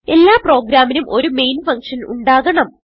എല്ലാ പ്രോഗ്രാമ്മിനും ഒരു മെയിൻ ഫങ്ഷൻ ഉണ്ടാകണം